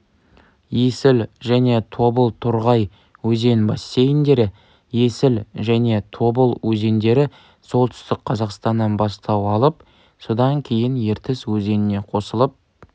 есіл және тобыл-торғай өзен бассейндері есіл және тобыл өзендері солтүстік қазақстаннан бастау алып содан кейін ертіс өзеніне қосылып